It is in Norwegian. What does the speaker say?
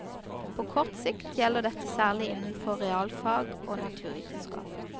På kort sikt gjelder dette særlig innenfor realfag og naturvitenskap.